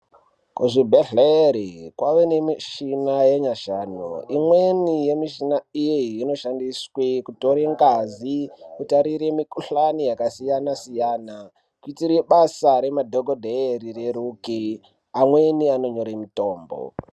Kuzvibhedhleya kwave nemichina yenyashanu imweni yemichina iyi inoshandiswe kutore ngazi kutarire mikuhlani yakasiyana siyana kuitire basa remadhokodheya rireruje amweni anonyore mitombo.